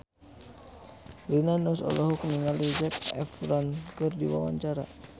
Rina Nose olohok ningali Zac Efron keur diwawancara